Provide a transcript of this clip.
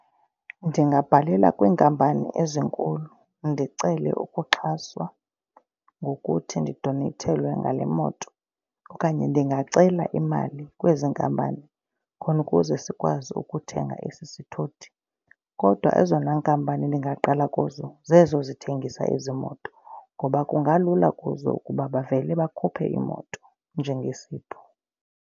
Ndingabhalela kwiinkampani ezinkulu ndicele ukuxhaswa ngokuthi ndidoneyithelwe ngale moto okanye ndingacela imali kwezi nkampani khona ukuze sikwazi ukuthenga esi sithuthi. Kodwa ezona nkampani ndingaqala kuzo zezo zithengisa ezi moto ngoba kungalula kuzo ukuba bavele bakhuphe iimoto njengesipho.